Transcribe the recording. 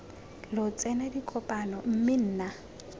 lo tsena dikopano mme nna